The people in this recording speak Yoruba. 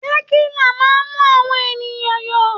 Tẹ̀kílà máa ń mú àwọn ènìyàn yó.